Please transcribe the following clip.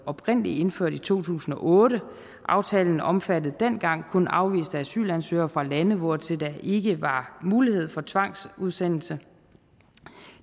oprindelig indført i to tusind og otte aftalen omfattede dengang kun afviste asylansøgere fra lande hvortil der ikke var mulighed for tvangsudsendelse